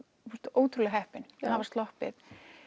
ótrúlega heppin að hafa sloppið